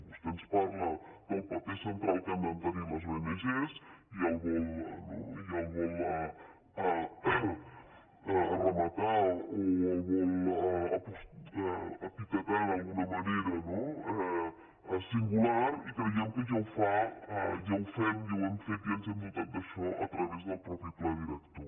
vostè ens parla del paper central que han de tenir les ong no i el vol re matar o el vol epitetar d’alguna manera no singular i creiem que ja ho fem i ho hem fet i ens hem dotat d’això a través del mateix pla director